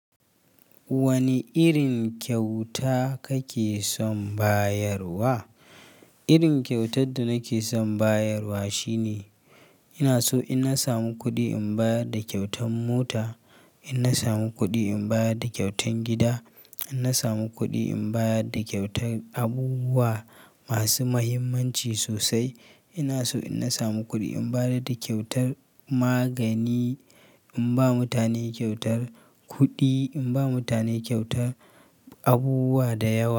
Wani irin kyauta kake son bayarwa? Irin kyautar da nake son bayarwa shine, ina so in na samu kuɗi in bayar da kyautan mota, in na samu kuɗi in bayar da kyautan gida, in na samu kuɗi in bayar da kyautar abubuwa masu muhimmanci sosai. Ina so in na samu kuɗi in bayar da kyautar magani, in ba mutane kyautar kuɗi, in ba mutane kyautar abubuwa da yawa.